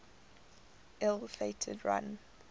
ill fated run